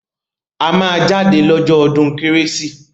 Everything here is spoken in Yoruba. A máa jáde lọ́jọ́ ọdún kérésì